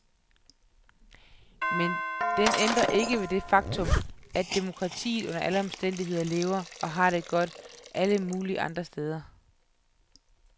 Men den ændrer ikke det faktum, at demokratiet under alle omstændigheder lever og har det godt, alle mulige andre steder.